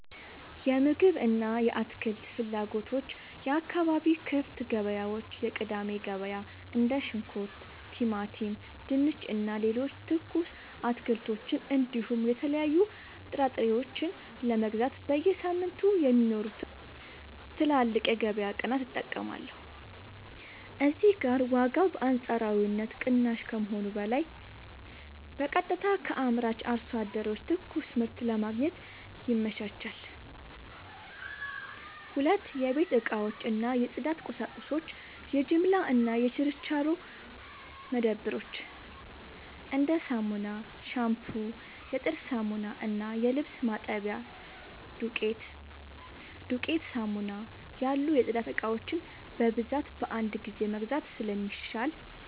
የምግብ እና የአትክልት ፍላጎቶች የአካባቢ ክፍት ገበያዎች (የቅዳሜ ገበያ): እንደ ሽንኩርት፣ ቲማቲም፣ ድንች እና ሌሎች ትኩስ አትክልቶችን እንዲሁም የተለያዩ ጥራጥሬዎችን ለመግዛት በየሳምንቱ የሚኖሩትን ትላልቅ የገበያ ቀናት እጠቀማለሁ። እዚህ ጋር ዋጋው በአንጻራዊነት ቅናሽ ከመሆኑም በላይ በቀጥታ ከአምራች አርሶ አደሮች ትኩስ ምርት ለማግኘት ይመቻቻል። 2. የቤት እቃዎች እና የጽዳት ቁሳቁሶች የጅምላ እና የችርቻሮ መደብሮች: እንደ ሳሙና፣ ሻምፑ፣ የጥርስ ሳሙና እና የልብስ ማጠቢያ ዱቄት (ዱቄት ሳሙና) ያሉ የጽዳት እቃዎችን በብዛት በአንድ ጊዜ መግዛት ስለሚሻል፣